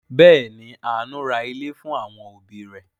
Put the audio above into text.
Bẹẹ̀ ni, Àánú ra ilé fún àwọn òbí rẹ̀.